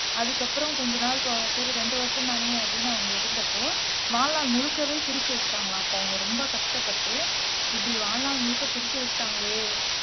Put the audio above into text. அதுக்கு அப்புறம் கொஞ்ச நாள் போக சரி இரண்டு வருஷம் தானே அப்படின்னு அவங்க இருந்தப்போ வாழ்நாள் முழுக்கவே பிரிச்சு வச்சிட்டாங்களாம் அப்ப அவங்க ரொம்ப கஷ்டப்பட்டு இப்படி வாழ்நாள் முழுக்க பிரிச்சு வச்சிட்டாங்களே